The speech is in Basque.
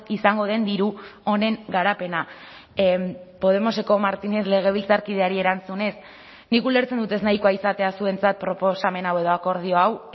izango den diru honen garapena podemoseko martínez legebiltzarkideari erantzunez nik ulertzen dut ez nahikoa izatea zuentzat proposamen hau edo akordio hau